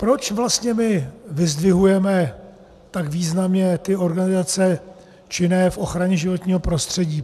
Proč vlastně my vyzdvihujeme tak významně ty organizace činné v ochraně životního prostředí?